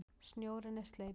Snjórinn er sleipur!